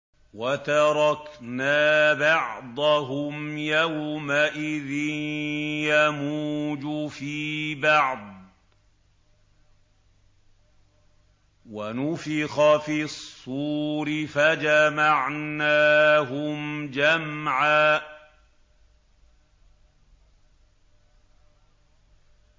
۞ وَتَرَكْنَا بَعْضَهُمْ يَوْمَئِذٍ يَمُوجُ فِي بَعْضٍ ۖ وَنُفِخَ فِي الصُّورِ فَجَمَعْنَاهُمْ جَمْعًا